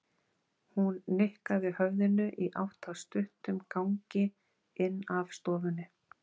Hún nikkaði höfðinu í átt að stuttum gangi inn af stofunni.